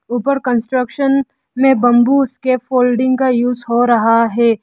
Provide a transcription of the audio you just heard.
ऊपर कंस्ट्रक्शन में बंबूस के फोल्डिंग का यूज़ हो रहा है।